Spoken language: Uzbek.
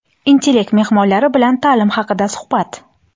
"Intellekt" mehmonlari bilan ta’lim haqida suhbat.